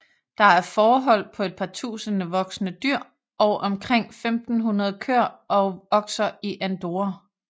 Der er fårehold på et par tusinde voksne dyr og omkring 1500 køer og okser i Andorra